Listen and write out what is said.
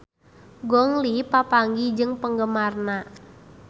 Gong Li papanggih jeung penggemarna